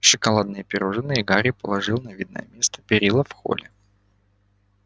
шоколадные пирожные гарри положил на видное место перила в холле